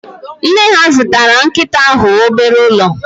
Nne ha zụtara nkịta ahụ obere ụlọ